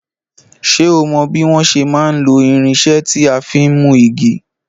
Ṣé o mò bí wọn ṣe má n lo irinsé tí a fin mú igi?